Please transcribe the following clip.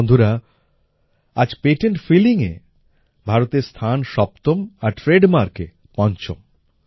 বন্ধুরা আজ পেটেন্ট ফিলিংএ ভারতের স্থান সপ্তম আর ট্রেডমার্কে পঞ্চম